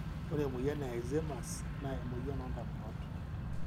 ore emoyian e Alzheimers na emoyian ondamunot.